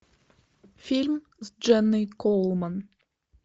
фильм с дженной коулман